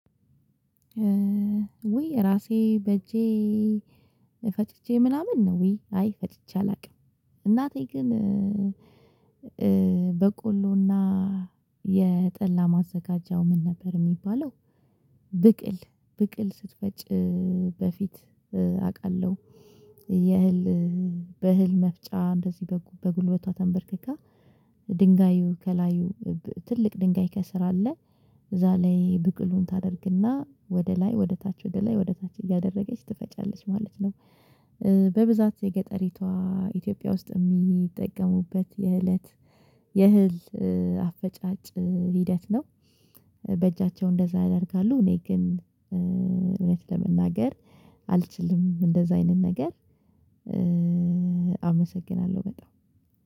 ውይ ራሴ በእጄ ፈትቼ ምናምን ውይ አይ ፈጭቼ አላውቅም። እናቴ ግን በቆሎና የጠላ ማዘጋጃው ምን ነበር የሚባለው ብቅል ብቅል ስትፈጭ በፊት አውቃለሁ። የህል በህል መፍጫ እንደዚህ በጉልበቷ ተንበርክካ፤ ድንጋዩ ከላዩ ትልቅ ድንጋይ ከስር አለ እዛ ላይ ብቅሉን ታደርግና፤ ወደ ላይ ወደ ታች ወደ ላይ ወደ ታች እያደረገች፤ ትፈጫለች ማለት ነው። በብዛት የገጠሪቷ ኢትዮጵያ ውስጥ የሚጠቀሙበት የእለት የእህል አፈጫጭ ሂደት ነው። በእጃቸው እንደዛ ያደርጋሉ እኔ ግን እውነት ለመናገር አልችልም፤ እንደዛ አይነት ነገር አመሰግናለሁ በጣም።